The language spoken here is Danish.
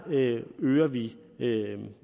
øger vi